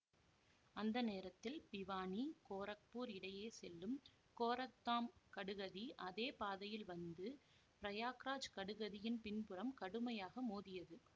அந்த நேரத்தில் பிவானி கோரக்பூர் இடையே செல்லும் கோரக்தாம் கடுகதி அதே பாதையில் வந்து பிரயாக்ராஜ் கடுகதியின் பின்புறம் கடுமையாக மோதியது